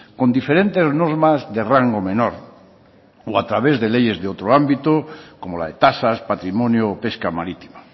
con diferentes normas de rango menor o a través de leyes de otro ámbito como la de tasas patrimonio pesca marítima